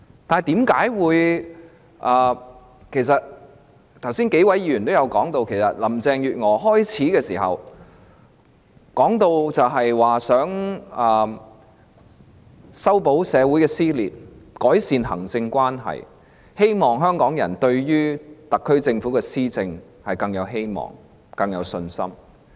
正如剛才數位議員提及，林鄭月娥開始擔任特首時，曾表示要修補社會的撕裂、改善行政立法關係，希望香港人對特區政府的施政更有希望、更有信心。